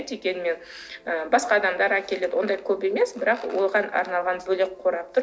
дегенмен ы басқа адамдар әкеледі ондай көп емес бірақ оған арналған бөлек қорап тұр